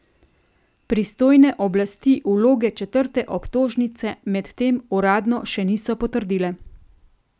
Pristojne oblasti vloge četrte obtožnice medtem uradno še niso potrdile.